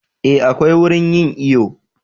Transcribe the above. Eh akwai wurin yin iyo